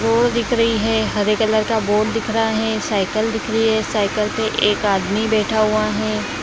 Road दिख रही है हरे कलर का बोर्ड दिख रहा है साईकल दिख रही है साइकल पे एक आदमी बैठा हुआ है।